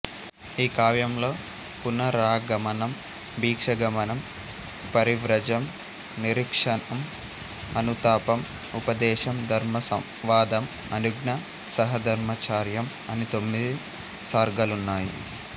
ఈ కావ్యంలో పునరాగమనం భిక్షాగమనం పరివ్రాజం నిరీక్షణం అనుతాపం ఉపదేశం ధర్మసంవాదం అనుజ్ఞ సహధర్మచర్యం అని తొమ్మిది సర్గలున్నాయి